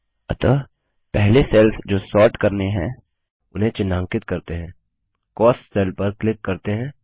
अतः पहले सेल्स जो सोर्ट करने हैं उन्हें चिन्हांकित करते हैं कॉस्ट सेल पर क्लिक करते हैं